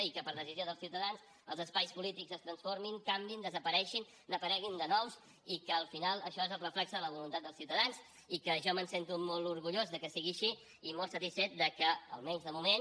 i que per decisió dels ciutadans els espais polítics es transformin canviïn desapareguin n’apareguin de nous i que al final això és el reflex de la voluntat dels ciutadans i que jo me’n sento molt orgullós que sigui així i molt satisfet del fet que almenys de moment